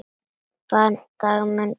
Barn Dagmey Björk.